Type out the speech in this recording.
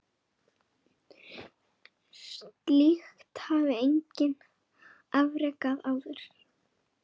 Slíkt hafði enginn afrekað áður.